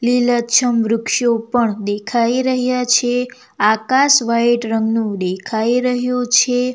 લીલાછમ વૃક્ષો પણ દેખાઈ રહ્યા છે આકાશ વાઈટ રંગનુ દેખાઈ રહ્યુ છે.